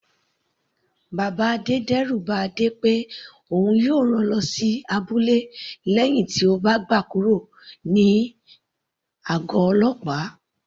Bàbá Adé d'ẹru ba Adé pé òun yóò rán lọ sí abúlé lẹ́hìn tí ó gba kúrò ní àgọ̀ ọlọ́pàá.